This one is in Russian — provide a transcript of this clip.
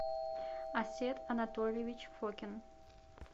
асет анатольевич фокин